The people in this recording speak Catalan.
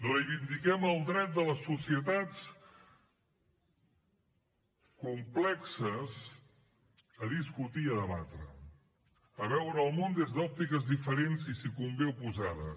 reivindiquem el dret de les societats complexes a discutir i a debatre a veure el món des d’òptiques diferents i si convé oposades